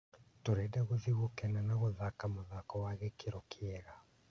Tũrenda gũthiĩ gũkena na gũthake mũthako wa gĩkĩro kĩega."